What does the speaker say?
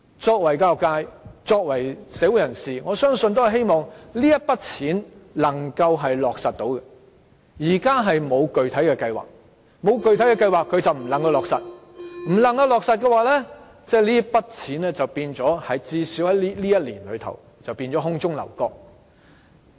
作為教育界一分子、作為社會人士，我相信也希望這筆錢能夠落實使用，但現時政府沒有具體計劃，沒有具體計劃便不能落實使用，不能落實的話，這筆錢至少在這一年便會變成空中樓閣。